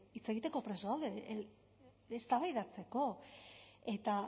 hitz egiteko prest gaude eztabaidatzeko eta